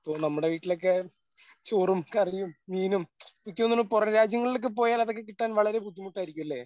ഇപ്പോ നമ്മുടെ വീട്ടിലൊക്കെ ചോറും കറിയും മീനും ക്ക് തോന്നുണു പുറം രാജ്യങ്ങളിൽ ഒക്കെ പോയാൽ അതൊക്കെ കിട്ടാൻ വളരെ ബുദ്ധിമുട്ടായിരിക്കുല്ലേ?